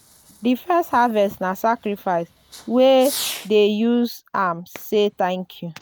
di first harvest na sacrifice—we dey use am say thank you.